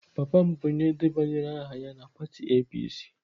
Papa m bụ onye debanyere aha na pati APC.